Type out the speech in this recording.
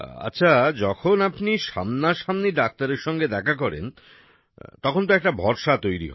আচ্ছা যখন আপনি সামনাসামনি ডাক্তারের সঙ্গে দেখা করেন তখন একটা ভরসা তৈরি হয়